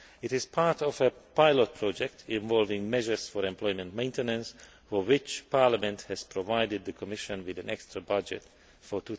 This is part of a pilot project involving measures for employment maintenance, for which Parliament has provided the Commission with an extra budget for